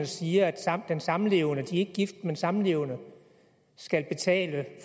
siger at den samlevende de er ikke gift men samlevende skal betale